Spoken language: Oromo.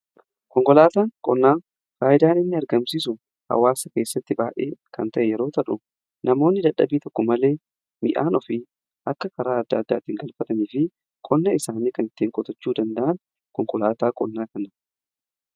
Konkolaataan qonnaa faayidaan inni argamsiisu hawaasa keessatti baayyee kan ta'e yeroo ta'u namoonni dadhabii tokko malee midhaan ofii akka karaa adda addaatiin galfatanii fi qonna isaanii kan ittiin qotachuu danda'an konkolaataa qonnaa kanadha.